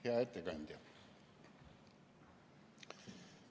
Hea ettekandja!